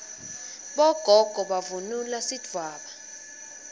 bogogo bavunula sidvwaba